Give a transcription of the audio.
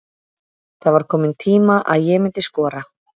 Það var kominn tíma að ég myndi skora.